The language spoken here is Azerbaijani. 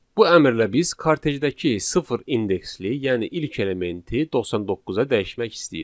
Bu əmrlə biz kartejdəki sıfır indeksli, yəni ilk elementi 99-a dəyişmek istəyirik.